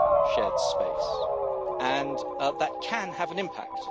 shared space, and that can have an impact.